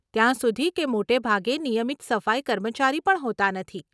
ત્યાં સુધી કે મોટે ભાગે નિયમિત સફાઈ કર્મચારી પણ હોતાં નથી.